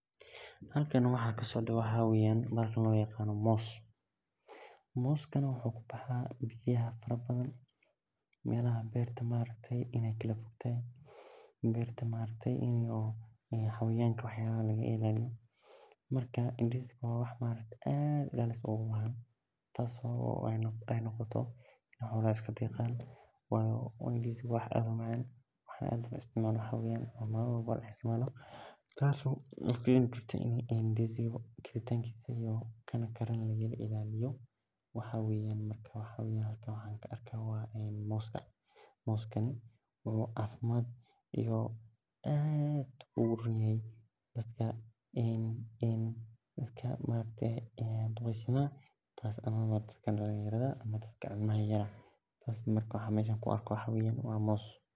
Halkan waxaa kasocdo maxaa waye mos moskana waa wax aad lo jecelelyahay oo dadka u fican oo nah cafimaad kujiro oo xayawanka iyo waxyalaha laga ilaliyo waa hada ka arki hayo waa mos tas aya halkan laga hela hada waxaa an mesha ku arko waa mos.